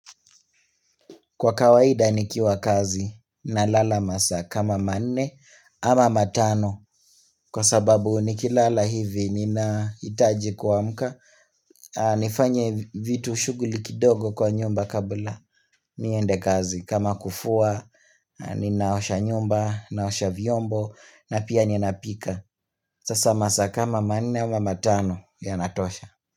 Kwa kawaida nikiwa kazi na lala masaa kama manne ama matano kwa sababu nikilala hivi ninahitaji kuamka nifanye vitu shughuli kidogo kwa nyumba kabla niende kazi kama kufua ninaosha nyumba naosha vyombo na pia nina pika Sasa masaa kama manne ama matano ya natosha.